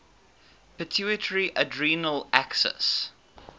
pituitary adrenal axis